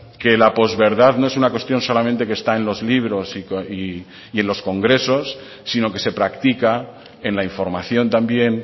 que la post verdad no es una cuestión solamente que está en los libros y en los congresos sino que se practica en la información también